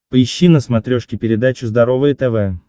поищи на смотрешке передачу здоровое тв